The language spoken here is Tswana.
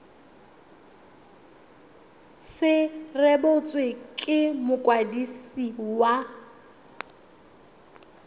se rebotswe ke mokwadisi wa